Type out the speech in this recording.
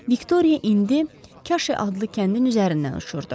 Viktoriya indi Kaşi adlı kəndin üzərindən uçurdu.